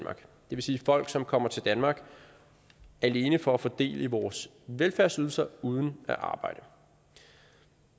vil sige folk som kommer til danmark alene for at få del i vores velfærdsydelser uden at arbejde